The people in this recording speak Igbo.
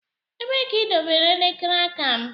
Ebee ka idobere elekere aka m?